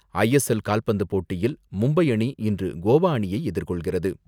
ISL கால்பந்து போட்டியில் மும்பை அணி, இன்று கோவா அணியை எதிர்கொள்கிறது.